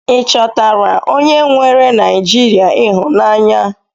I chọtara onye nweere Naijiria ịhụnanya?